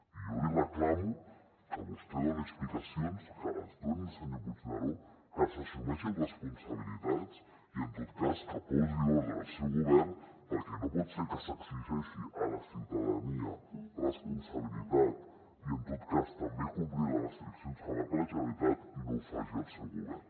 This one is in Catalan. i jo li reclamo que vostè doni explicacions que les doni el senyor puigneró que s’assumeixin responsabilitats i en tot cas que posi ordre al seu govern perquè no pot ser que s’exigeixi a la ciutadania responsabilitat i en tot cas també complir les restriccions que marca la generalitat i no ho faci el seu govern